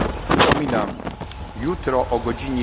najbliższy rok. Przypominam